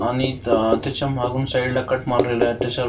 आणि त्याच्या मागून साइडला कट मारलेला आहे त्याच्या--